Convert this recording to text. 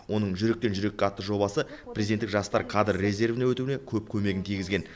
оның жүректен жүрекке атты жобасы президенттік жастар кадр резервіне өтуіне көп көмегін тигізген